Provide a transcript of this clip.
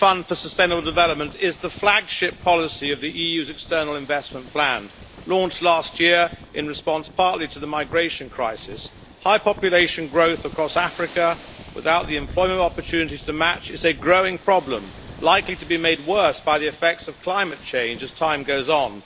Mr President, the European Fund for Sustainable Development is the flagship policy of the EU's external investment plan, launched last year in response partly to the migration crisis. High population growth across Africa without the employment opportunities to match is a growing problem, likely to be made worse by the effects of climate change as time goes on.